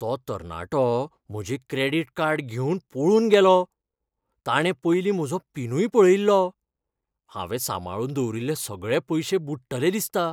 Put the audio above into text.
तो तरणाटो म्हजें क्रॅडिट कार्ड घेवन पळून गेलो. ताणें पयलीं म्हजो पिनूय पळयिल्लो. हांवें सांबाळून दवरिल्ले सगळे पयशे बुडटले दिसता.